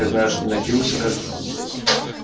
я знаю что напился как бы там блять